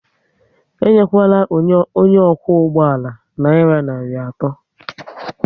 Enyekwala onye okwu ụgbọala nayira narị atọ